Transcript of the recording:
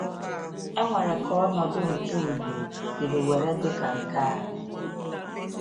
E nwere ka ọnọdụ nke ìgwè siri were dị ka nke anyị?